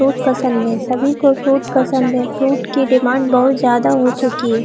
Fruit पसंद नही सभी को फ्रूट पसंद है फ्रूट की डिमांड बहुत ज्यादा हो चुकी हैं।